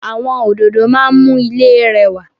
Àwọn òdòdó máa ń mú ilé rẹwà